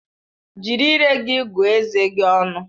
Jiri ire gị gụọ eze gi ọnụ!